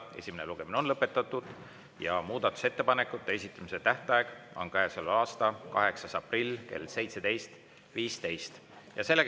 Esimene lugemine on lõpetatud ja muudatusettepanekute esitamise tähtaeg on käesoleva aasta 8. aprill kell 17.15.